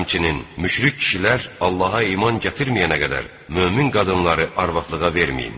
Həmçinin müşrik kişilər Allaha iman gətirməyənə qədər mömin qadınları arvadlığa verməyin.